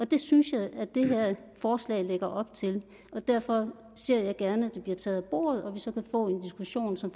det synes jeg at det her forslag lægger op til og derfor ser jeg gerne at det bliver taget af bordet og at vi så kan få en diskussion som